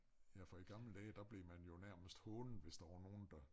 Ja for i gamle dage der blev man jo nærmest hånet hvis der var nogen der